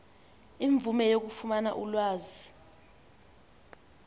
imvume yokufumana ulwazi